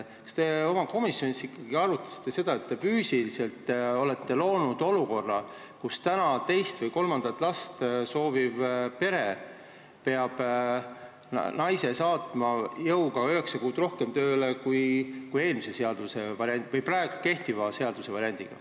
Kas te komisjonis ikkagi arutasite seda, et te olete füüsiliselt loonud olukorra, kus teist või kolmandat last sooviv pere peab naise jõuga saatma üheksa kuu võrra kauemaks tööle, kui tuleb teha kehtiva seaduse alusel?